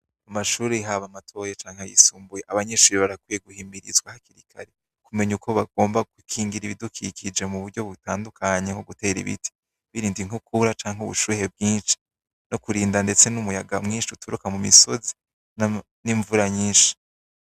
Mu mashure haba matoyi canke ayisumbuye, abanyeshure barakwiye guhimirizwa hakiri kare, kumenya uko bagomba gukingira ibidukikije mu buryo butandukanye bw'ugutera ibiti, kwirinda inkukura canke ubushuhe bwinshi n'ukurinda ndetse n'umuyaga mwinshi uturuka mu misozi n'imvura nyishi.